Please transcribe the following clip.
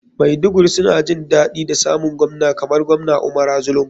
Maiduguri suna jin daɗi da samun govna kamar govna umara zulum.